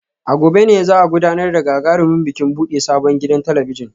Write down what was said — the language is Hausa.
A gobe ne za a gudanar da gagarumin bikin bude sabon gidan talabijin